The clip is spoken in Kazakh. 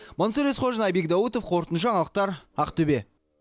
мансұр есқожин айбек даутов қорытынды жаңалықтар ақтөбе